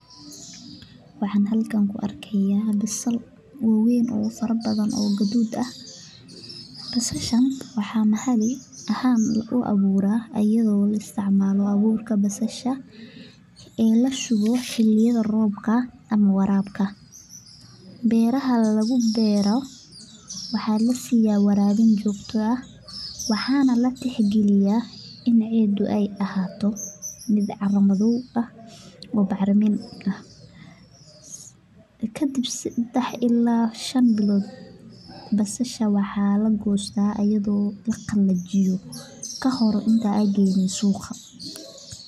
Waxan halkan kuarkeya basal wawen oo fara badan oo gadud ah basashan waxaa mahali ahan lugu abura ayada oo la isticmalo aburka basasha ee lasugo liyada robka ama warabka beera lagu beero waxaa lasiya warabin jogto ah waxana latix galiya in cidu ee ahato mid cara madhow ah oo bacrimin ah kadib sadax ila shan bilod aya basasha waxaa lagista ayadho latujiyo aa geso suqa.